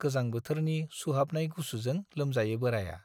गोजां बोथोरनि सुहाबनाय गुसुजों लोमजायो बोराइया।